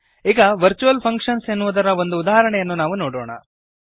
ಈಗ virtual functions ಎನ್ನುವುದರ ಒಂದು ಉದಾಹರಣೆಯನ್ನು ನಾವು ನೋಡೋಣ